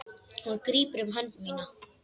Hún grípur um hönd mína.